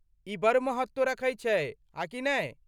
ई बड़ महत्त्व रखै छै, आ कि नै?